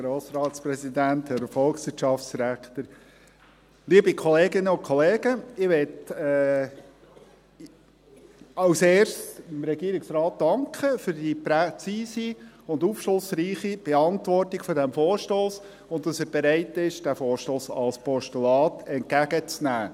Als Erstes möchte ich dem Regierungsrat danken für die präzise und aufschlussreiche Beantwortung dieses Vorstosses und dafür, dass er bereit ist, den Vorstoss als Postulat entgegenzunehmen.